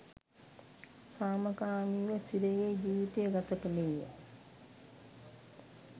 සාමකාමීව සිරගෙයි ජීවිතය ගත කළේය.